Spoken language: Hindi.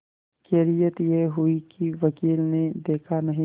खैरियत यह हुई कि वकील ने देखा नहीं